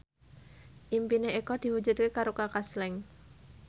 impine Eko diwujudke karo Kaka Slank